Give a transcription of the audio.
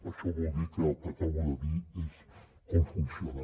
això vol dir que el que acabo de dir és com funciona